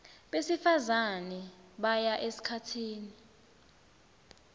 besifazane baya esikhatsini